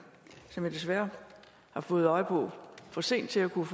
som jeg desværre har fået øje på for sent til at kunne